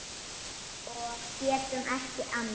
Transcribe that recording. Og getum ekki annað.